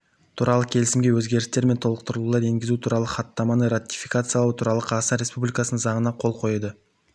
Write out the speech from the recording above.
туралы келісімге өзгерістер мен толықтырулар енгізу туралы хаттаманы ратификациялау туралы қазақстан республикасының заңына қол қойды